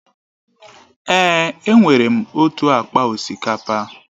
Èè, enwere m otu akpa osikapa.